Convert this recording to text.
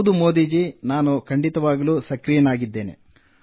ಹೌದು ಮೋದಿ ಜೀ ನಾನು ಸಕ್ರಿಯವಾಗಿದ್ದೇನೆ